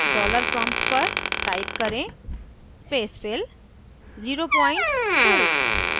dollar prompt पर type करें spacefill 02